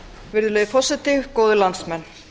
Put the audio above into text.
virðulegi forseti góðir landsmenn